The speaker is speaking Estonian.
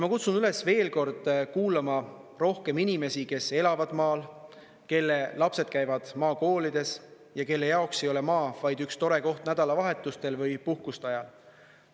Ma kutsun üles veel kord kuulama rohkem inimesi, kes elavad maal, kelle lapsed käivad maakoolides ja kelle jaoks ei ole maa vaid üks tore koht nädalavahetustel või puhkuste ajal.